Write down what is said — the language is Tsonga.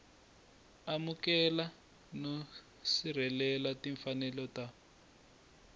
amukela no sirhelela timfanelo ta